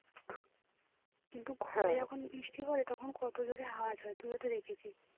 কিন্তু ঘরে যখন বৃষ্টি পড়ে তখন কত জোরে আওয়াজ হয় তুইও তো দেখেছিস